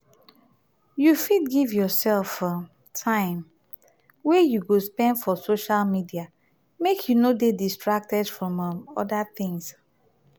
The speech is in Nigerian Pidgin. you fit give yourself um time wey you go spend for social medial make you no de distracted from um other things um